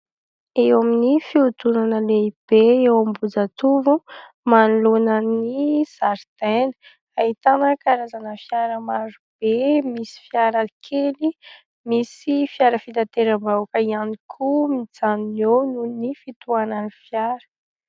Eo amin'ny fihodinana lehibe eo Ambohijatovo, manoloana ny zaridaina, ahitana karazana fiara maro be, misy fiara kely, misy fiara fitateram-bahoaka ihany koa mijanona eo nohon'ny fitohanan'ny fiara.